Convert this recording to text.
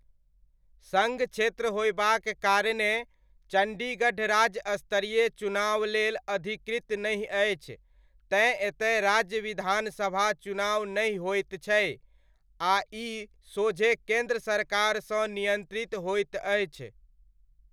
सङ्घ क्षेत्र होयबाक कारणेँ चण्डीगढ़ राज्य स्तरीय चुनाव लेल अधिकृत नहि अछि। तैँ एतय राज्य विधानसभा चुनाव नहि होइत छै आ ई सोझे केन्द्र सरकारसँ नियन्त्रित होइत अछि।